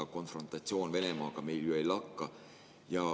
Ega konfrontatsioon Venemaaga meil ju ei lakka.